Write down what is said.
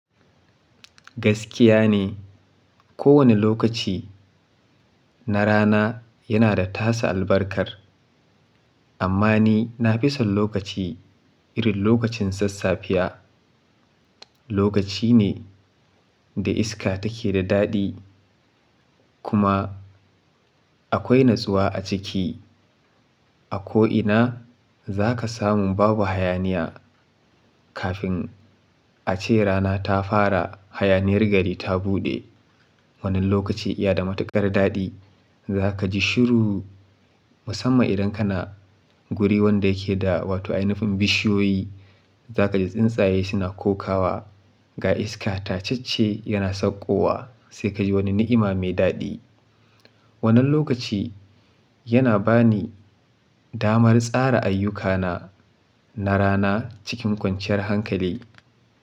Gaskiya ne, kowane lokaci na rana yana da tasa albarkar. Amma ni na fi son lokaci irin lokacin sassafe. Lokaci ne da iska take da daɗi kuma akwai natsuwa a ciki. A ko ina za ka samu babu hayaniya. Kafin a ce rana ta fara, hayaniyar gari ta buɗe. Wannan lokaci iya da matuƙar daɗi. Za ka ji shiru musamman idan kana wuri wanda yake da wato ainihin bishiyoyi. Za ka ji tsintsaye suna kokawa, ga iska tacacce yana sakko wa sai ka ji wani ni'ima mai daɗi. Wannan lokaci yana ba ni damar tsara ayyukana na rana cikin kwanciyar hankali.